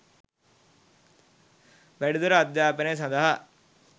වැඩිදුර අධ්‍යාපනය සඳහා